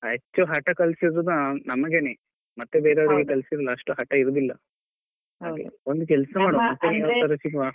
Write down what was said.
ಹೆಚ್ಚು ಹಠ ಕಲ್ಸಿರೋದು ನಮ್ಗೆನೇ ಮತ್ತೆ ಬೇರೆಯವ್ರಿಗೆಲ್ಲಾ ಕಳ್ಸಿಲ್ಲ ಅಷ್ಟು ಹಠ ಇರುದಿಲ್ಲ ಹಾಗೆ ಒಂದು ಕೆಲ್ಸ ಮಾಡುವ ಸಿಗುವ.